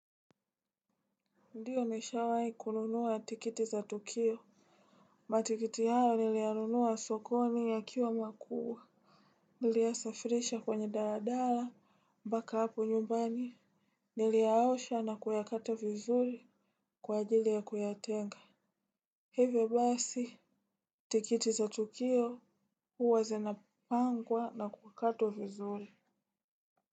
Ndiyo nishawai kununuwa tiketi za tukio. Matikiti hayo niliyanunua sokoni yakwa makubwa. Niliyasafirisha kwenye daradara, mpaka hapo nyumbani. Niliyaosha na kuyakata vizuri kwa ajili ya kuyatenga. Hevyo basi tikiti za tukio uwa zenapangwa na kukatwa vizuri.